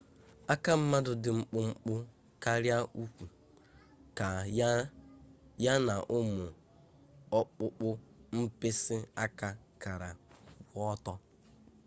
aka mmadụ dị mkpụmkpụ karịa ụkwụ ya na ụmụ ọkpụkpọ mkpịsị aka kara kwụ ọtụ